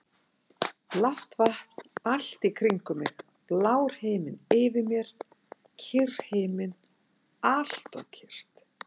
Blátt vatn allt í kringum mig, blár himinn yfir mér, kyrr himinn, alltof kyrr.